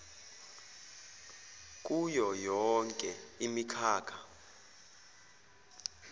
kuyo yonke imikhakha